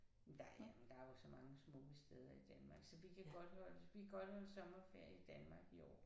Men der er men der jo så mange smukke steder i Danmark så vi kan godt holde vi kan godt holde sommerferie i Danmark i år